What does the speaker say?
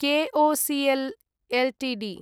KOCL Ltd